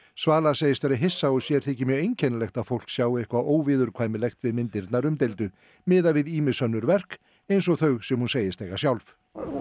svala segist vera hissa og sér þyki mjög einkennilegt að fólk sjái eitthvað óviðurkvæmilegt við myndirnar umdeildu miðað við ýmis önnur verk eins og þau sem hún segist eiga sjálf